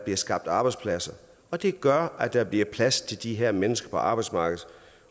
skabt arbejdspladser og det gør at der bliver plads til de her mennesker på arbejdsmarkedet